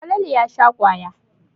Falalu ya sha kwaya.